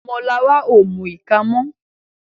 Omo Lara o mú ika mọ.